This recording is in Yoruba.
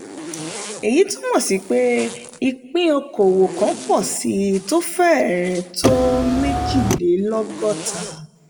èyí túmọ̀ sí pé ìpín okòwò kan pọ̀ síi tó fẹrẹ̀ tó méjìlélọ́gọ́ta.